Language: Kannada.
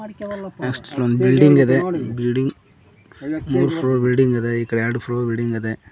ನೆಕ್ಷ್ಟ್ ಒಂದ್ ಬಿಲ್ಡಿಂಗ್ ಇದೆ ಬಿಲ್ಡಿಂಗ್ ಮೂರ್ ಫ್ಲೋರ್ ಬಿಲ್ಡಿಂಗ್ ಇದೆ ಈ ಕಡೆ ಎರಡು ಫ್ಲೋರ್ ಬಿಲ್ಡಿಂಗ್ ಅದೆ.